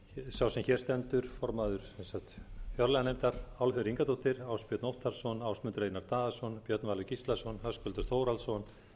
sá sem hér stendur formaður fjárlaganefndar álfheiður ingadóttir ásbjörn óttarsson ásmundur einar daðason björn valur gíslason höskuldur þórhallsson